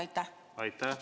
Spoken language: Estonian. Aitäh!